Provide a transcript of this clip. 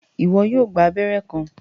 Iwọ yóò gbà abẹrẹ kan